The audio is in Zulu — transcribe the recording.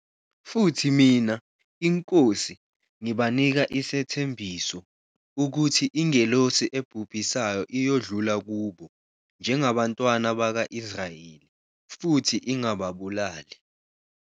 Futhi mina, iNkosi, ngibanika isethembiso, ukuthi ingelosi ebhubhisayo iyodlula kubo, njengabantwana bakwa-Israyeli, futhi ingababulali.